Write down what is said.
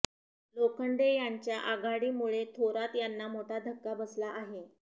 लोखंडे यांच्या आघाडीमुळे थोरात यांना मोठा धक्का बसला आहे